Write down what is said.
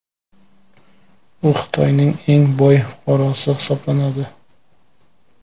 U Xitoyning eng boy fuqarosi hisoblanadi.